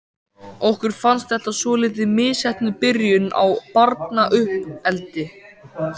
Okkur fannst þetta svolítið misheppnuð byrjun á barnauppeldi.